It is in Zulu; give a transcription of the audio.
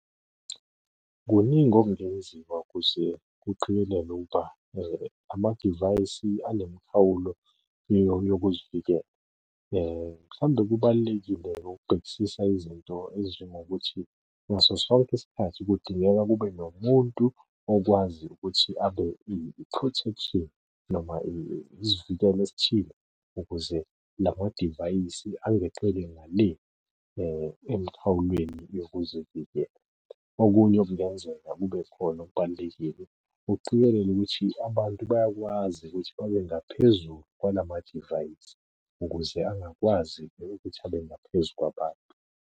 Kuningi okungenziwa ukuze kuqikelelwe ukuba amadivayisi anemikhawulo yokuzivikela. Mhlawumbe kubalulekile-ke ukubhekisisa izinto ezinjengokuthi ngaso sonke isikhathi kudingeka kube nomuntu okwazi ukuthi abe i-protection noma isivikelo esithile ukuze la madivayisi angeqeli ngale emkhawulweni yokuzivikela. Okunye okungenzeka kube khona okubalulekile ukuqikelela ukuthi abantu bayakwazi ukuthi babe ngaphezulu kwalamadivayisi ukuze angakwazi ukuthi abe ngaphezu kwabantu.